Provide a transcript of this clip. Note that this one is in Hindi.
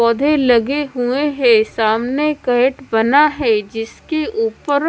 पौधे लगे हुए हैं सामने कैट बना है जिसके ऊपर--